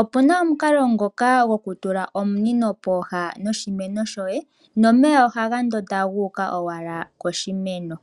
opuna omukalo ngoka goku tula omunino poha noshimeno shoye nomeya ohaga ndonda guuka owala koshimeno .